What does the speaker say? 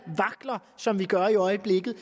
vakler som vi gør i øjeblikket